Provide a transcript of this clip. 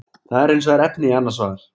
Það er hins vegar efni í annað svar.